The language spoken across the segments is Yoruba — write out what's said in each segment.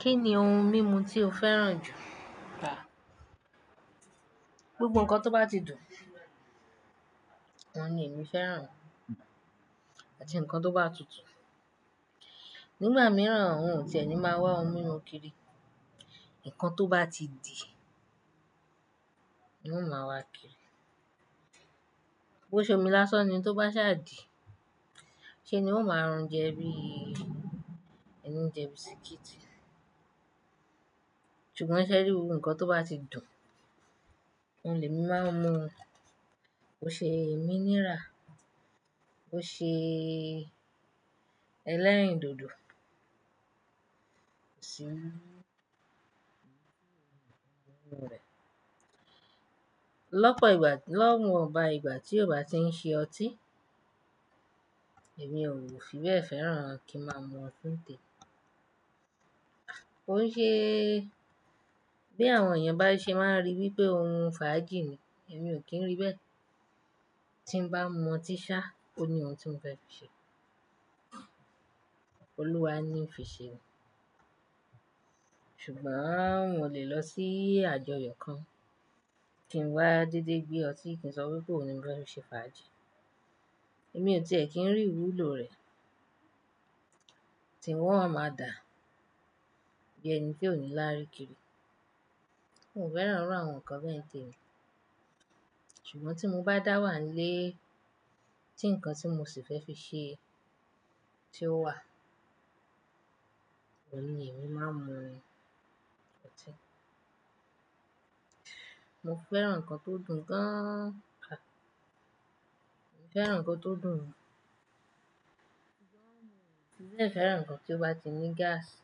Kí ni ohun mímu tí o fẹ́ràn jù? Àà! Gbogbo nǹkan tó bá ti dùn òun ni èmí fẹ́ràn àti nǹkan tó bá tutù. Nígbà mìíràn n ò tiẹ̀ ní máa wá ohun mímu kiri, nǹkan tó bá ti dì ni ń o máa wá kiri. Bo ṣe omi lásán ni tó bá sáà dì, ṣe ni n ó máa rún jẹ bíi ẹni ń jẹ bisikíìtì. Ṣùgbọ́n ṣé ẹ rí, gbogbo nǹkan tó bá ti dùn, oun lè mí máa ń mu o, ó ṣe mineral, ó ṣe ẹlẹ́rìndòdò, sí ń hun rẹ̀. Lọ́pọ̀ ìgbà, lọ́wọ̀nba ìgbà tí ò bá ti ń ṣe ọtí, èmi ò fi bẹ́ẹ̀ fẹ́ràn kí n máa mu ọtí ńtè. Ò ń ṣe bí àwọn èèyàn bá ṣe máa ń rí bíi pé ohun fàájì ni, èmi ò kí ń ríi bẹ́ẹ̀. Tí n bá mu ọtí ṣá, ó ní ohun tí mo fẹ́ fi ṣe. Olúwa níí fiṣe ni. Ṣùgbọ́n n ò lè lọ sí àjọyọ̀ kan, kí n wá dédé gbé ọtí kí n sọ wípé òun ni mo fẹ́ fi ṣe fàájì. Èmi ò ti è kí n rí ìwúlò rẹ̀, tí wọn o máa dà bíi ẹni tí ò ní láárí kiri. N ò fẹ́ràn irú àwọn nǹkan bẹ́ẹ̀ ń tèmi. Ṣùgbọ́n tí mo bá dà wà ńlé tí nǹkan tí mo sì fẹ́ fi ṣe tí ó wà, òun ni èmi máa ńmu ọtí. Mo fẹ́ràn nǹkan tó dùn gan-an. Mo fẹ́ràn nǹkan tó dùn. Bẹ́ẹ̀ fẹ́ràn nǹkan tí ó bá ti ní gáàsì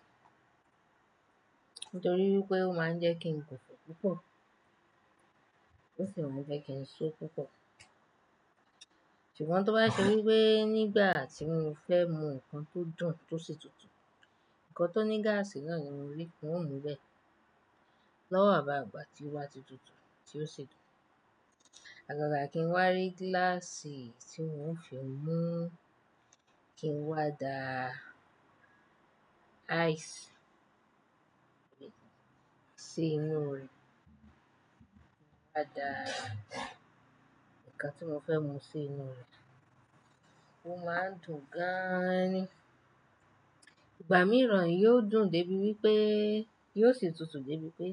nítorí wípé ó máa ń jẹ́ kí n gùnfọ̀ púpọ̀. Ó sì máa ń jẹ́ kí n só púpọ̀. Ṣùgbọ́n tó bá ṣe wípé nígbà tí mo fẹ́ mu nǹkan tó dùn tó sì tutù, nǹkan tó ní gáàsì náà ni mo rí, n ó mú bẹ́ẹ̀. Lọ́wọ̀nba ìgbà tí ó bá ti tutù tí ó sì dùn. Àgàgà kí n wá rí gíláàsì tí n ó fi mú kí n wá da ice sí inú rẹ̀. Mo wá dà nǹkan tí mo fẹ́ mu sí inú rẹ̀. Ó máa ń dùn gan-an ni. Ìgbà míìràn yóò dùn dé bí wípé yóò sì tutù dé bí pé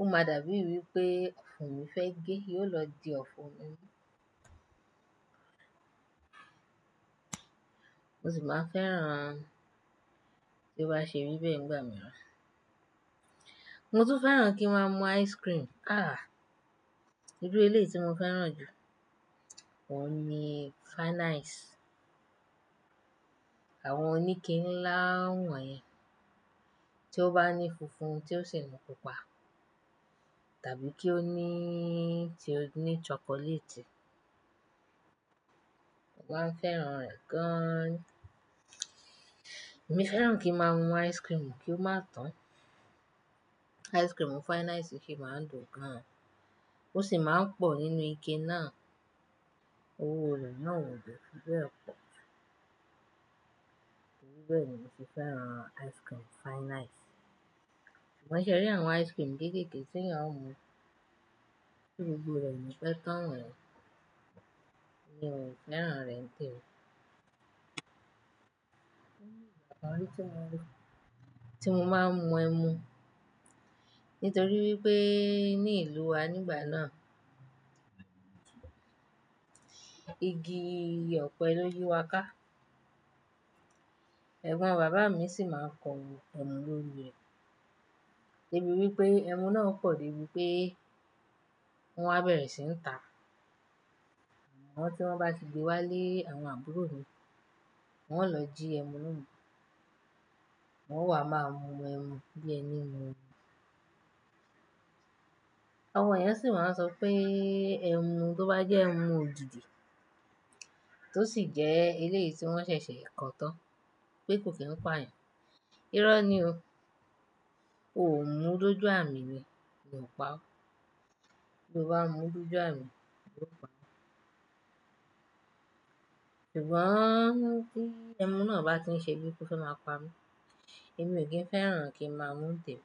ó máa dà bíi wípé ọ̀fùn mi fẹ́ gé, yóò lọ di ọ̀fùn mi. Mo sì máa fẹ́ràn bí ó bá ṣe ríbẹ̀ ńgbà mìrán. Mo tún fẹ́ràn kí n máa mu ice cream. Ah! Irú eléyìí tí mo fẹ́ràn jù, òun ni fine ice. Àwọn oníke ńlá wọ̀n yẹn, tí ó bá ní funfun tí ó sì ní pupa tàbí kí ó ní tí ó ní chocolate. Mo máa ń fẹ́ràn rẹ̀ gan-an. Èmi fẹ́ràn kí n máa mu ice cream kí ó máa tán. Ice cream fine ice síì máa dùn gan-an. Ó sì máa ń pọ̀ nínú ike náà. Owó rẹ̀ náà ò dè fi bẹ́ẹ̀ pọ̀. Bẹ́ẹ̀ ni mo sì fẹ́ràn ice cream fine ice. Ṣùgbọ́n ṣe rí àwọn ice cream kéékèèké t'eyán o mu, tí gbogbo rẹ̀ o ni pẹ́ tán wonyen, èmi o fẹ́ràn rẹ̀ ntẹ́ni. Ni ọ̀kan orí tí mo rí tí mo máa ń mu ẹmu nítorí wípé ní ìlú wa nígbà náà, igi ọ̀pẹ lóyi wa ká. Ẹ̀gbọ́n bàbá mi sì máa ń kọ ẹmu lórí rẹ̀ débi wípé ẹmu náà pọ̀ dé bí wípé wọn á bẹ̀rẹ̀ sí ń tà á. Àwọn tí wọ́n bá ti gbé wá lé àwọn àbúrò mi, wọ́n ó lọ jí ẹmu náà mú. Wọ́n wà máa mu ẹmu bí ẹni ń mu omi. Àwọn èèyàn sì máa ń sọ pé ẹmu tó bá jẹ́ ẹmu òjuju tó sì jẹ́ eléyìí tí wọ́n ṣẹ̀ṣẹ̀ ko tán pé kò kí n pà yàn. Irọ́ ni o. O ò mú dúdú àmì ni, ni ò pa ọ́. Bí o bá mú dojú àmi, yóò pa ọ́. Ṣùgbọ́n bí ẹmu náà bá ti ń ṣe bí pé ó fẹ́ máa pa mí, èmi ò kí n fẹ́ràn kí n máa mu tẹ́ni.